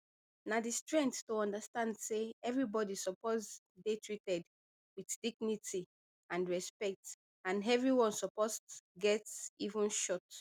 na di strength to understand say evribodi suppose dey treated wit dignity and respect and evrione suppose get even shot